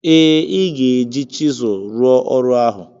Ee, ị ga-eji chisụl rụọ ọrụ ahụ